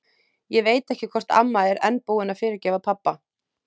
Ég veit ekki hvort amma er enn búin að fyrirgefa pabba.